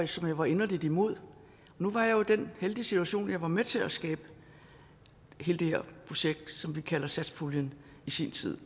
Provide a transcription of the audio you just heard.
som jeg var inderligt imod nu var jeg jo i den heldige situation at jeg var med til at skabe hele det her projekt som vi kalder satspuljen i sin tid